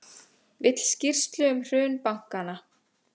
Vill skýrslu um hrun bankanna